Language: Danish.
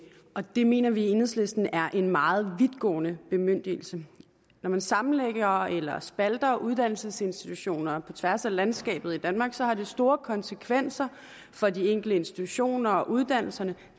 og det mener vi i enhedslisten er en meget vidtgående bemyndigelse når man sammenlægger eller spalter uddannelsesinstitutioner på tværs af landskabet i danmark har det store konsekvenser for de enkelte institutioner og uddannelser